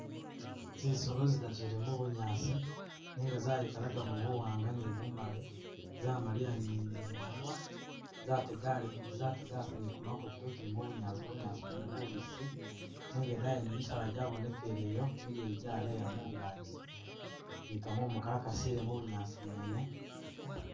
Zisolo zidatu zili mubunyaasi nenga zayikalakamo buwanga ne bumali zamaliya ne imunwa zetegasa zategasa ne kumakutu zezile mubunyaasi, bunyaasi bwene bubisi nenga idaayi yene misaala jabonekele yo mileye jaleya mungaji ne kakumu kakasile mubunyaasi bwene.